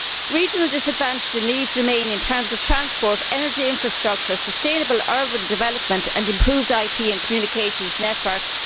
Regional disadvantages remain in terms of transport, energy infrastructure, sustainable urban development and improved IT and communications networks.